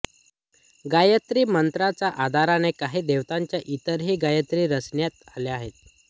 गायत्री मंत्राच्या आधाराने काही देवतांच्या इतरही गायत्री रचण्यात आल्या आहेत